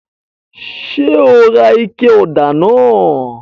Ṣe o rà ike òdà náà?